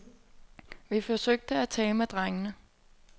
Vi forsøgte at tale med drengene.